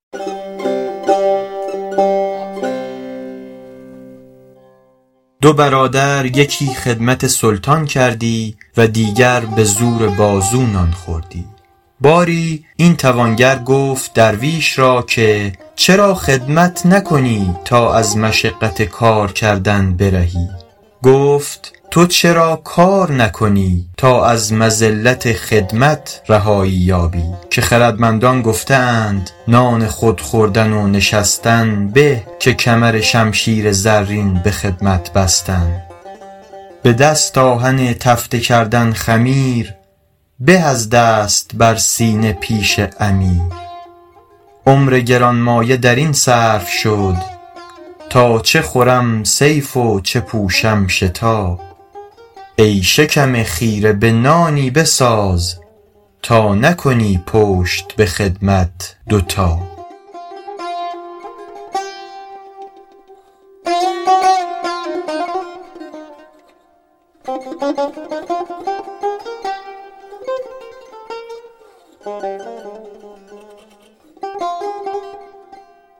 دو برادر یکی خدمت سلطان کردی و دیگر به زور بازو نان خوردی باری این توانگر گفت درویش را که چرا خدمت نکنی تا از مشقت کار کردن برهی گفت تو چرا کار نکنی تا از مذلت خدمت رهایی یابی که خردمندان گفته اند نان خود خوردن و نشستن به که کمرشمشیر زرین به خدمت بستن به دست آهک تفته کردن خمیر به از دست بر سینه پیش امیر عمر گرانمایه در این صرف شد تا چه خورم صیف و چه پوشم شتا ای شکم خیره به تایی بساز تا نکنی پشت به خدمت دو تا